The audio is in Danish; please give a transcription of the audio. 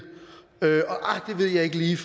ved jeg ikke lige